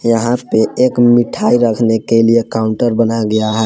यहां पे एक मिठाई रखने के लिए काउंटर बनाया गया है।